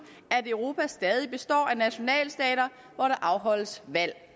at europa stadig består af nationalstater hvor der afholdes valg